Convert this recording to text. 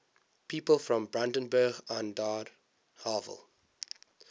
people from brandenburg an der havel